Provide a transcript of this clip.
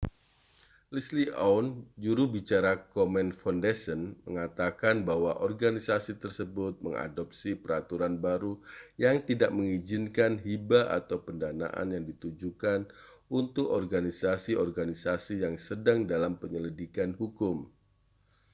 leslie aun juru bicara komen foundation mengatakan bahwa organisasi tersebut mengadopsi peraturan baru yang tidak mengizinkan hibah atau pendanaan yang ditujukan untuk organisasi-organisasi yang sedang dalam penyelidikan hukum